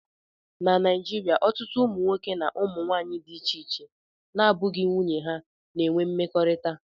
Na Naijiria, ọtụtụ ụmụnwoke na ụmụ nwanyị dị iche iche na-abụghị nwunye ha na-enwe mmekọrịta